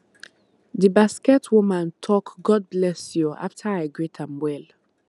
the basket woman talk god bless you after i greet am well